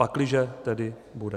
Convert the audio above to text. Pakliže tedy bude.